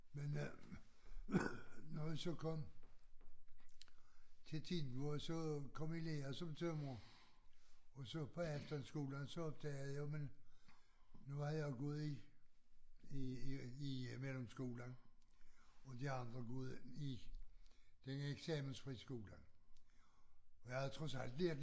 Men øh når jeg så kom til Tejn hvor jeg så kom i lære som tømrer og så bagefter skolen så opdagede jeg men nu var jeg jo gået i i i i mellemskolen og de andre gået ind i den eksamensfriskole og jeg havde trods alt lært